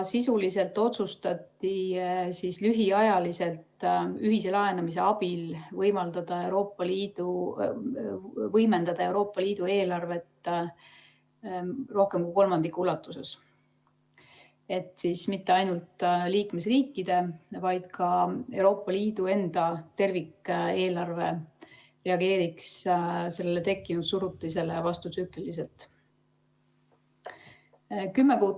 Sisuliselt otsustati lühiajaliselt ühise laenamise abil võimendada Euroopa Liidu eelarvet rohkem kui kolmandiku ulatuses, et mitte ainult liikmesriikide, vaid ka Euroopa Liidu enda tervikeelarve reageeriks tekkinud surutisele vastutsükliliselt.